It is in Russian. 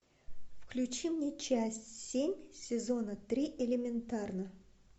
включи мне часть семь сезона три элементарно